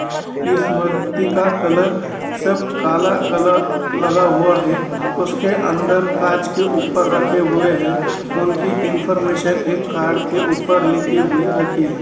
इस मर्ति का कलर सब काला कलर लगा हुआ है| उसके अंदर काँच के ऊपर रखे हुए हैं| उनकी इनफार्मेशन एक कार्ड के ऊपर लिखी हुई रखी है।